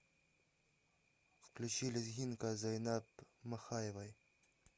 включи лезгинка зайнаб махаевой